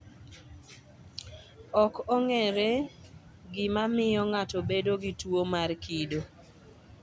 Ok ong�ere gima miyo ng�ato bedo gi tuwo mar kido.